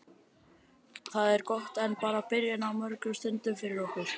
Það er gott en bara byrjun á mörgum stundum fyrir okkur.